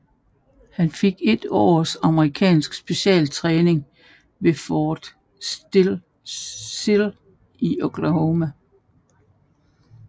Han fik et års amerikansk specialtræning ved Fort Sill i Oklahoma